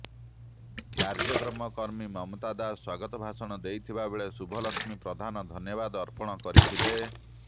କାର୍ଯ୍ୟକ୍ରମରେ କର୍ମୀ ମମତା ଦାଶ ସ୍ୱାଗତ ଭାଷଣ ଦେଇଥିବା ବେଳେ ଶୁଭଲକ୍ଷ୍ମୀ ପ୍ରଧାନ ଧନ୍ୟବାନ ଅର୍ପଣ କରିଥିଲେ